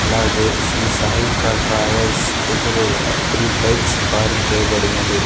అలాగే శ్రీ సాయికా ట్రావెల్స్ ఎదురుగా త్రి బైక్స్ పార్క్ చేయబడినది.